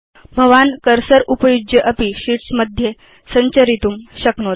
भवान् सारकम् उपयुज्य अपि शीट्स् मध्ये सञ्चरितुं शक्नोति